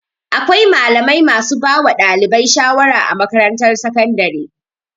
Akwai malamai masu bawa ɗalibai sharawa a makatarantar sakandare.